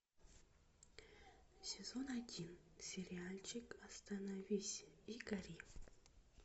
сезон один сериальчик остановись и гори